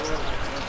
Sol otur.